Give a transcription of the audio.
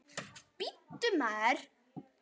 Bíddu, maður.